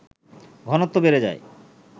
ঘনত্ব বেড়ে যায়